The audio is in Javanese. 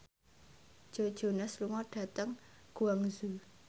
Joe Jonas lunga dhateng Guangzhou